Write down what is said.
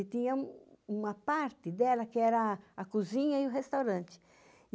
E tinha uma parte dela que era a cozinha e o restaurante.